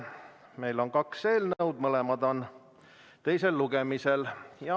Meil on kaks eelnõu, mõlemad on teisel lugemisel.